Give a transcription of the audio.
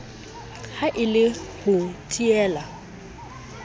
ha e le ho teela